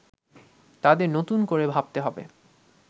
তাদের নতুন করে ভাবতে হবে